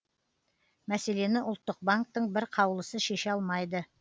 мәселені ұлттық банктің бір қаулысы шеше алмайды